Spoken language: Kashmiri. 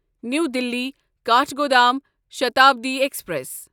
نیو دِلی کاٹھگودام شتابڈی ایکسپریس